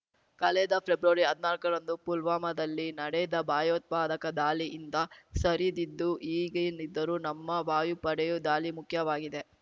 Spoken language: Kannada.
ಕಳೆದ ಫೆಬ್ರವರಿ ಹದ್ನಾಲ್ಕ ರಂದು ಪುಲ್ವಾಮಾದಲ್ಲಿ ನಡೆದ ಭಯೋತ್ಪಾದಕ ದಾಳಿ ಹಿಂದ ಸರಿದಿದ್ದು ಈಗೇನಿದ್ದರೂ ನಮ್ಮ ವಾಯು ಪಡೆಯು ದಾಳಿ ಮುಖ್ಯವಾಗಿದೆ